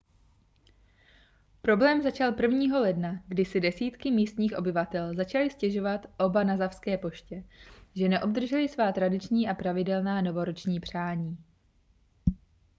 problém začal 1. ledna kdy si desítky místních obyvatel začaly stěžovat obanazawské poště že neobdržely svá tradiční a pravidelná novoroční přání